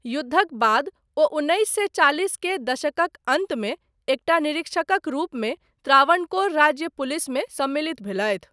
युद्धक बाद, ओ उन्नैस सए चालिस के दशकक अन्तमे एकटा निरीक्षकक रूपमे त्रावणकोर राज्य पुलिसमे सम्मिलित भेलथि।